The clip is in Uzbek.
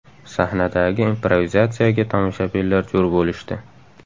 Sahnadagi improvizatsiyaga tomoshabinlar jo‘r bo‘lishdi.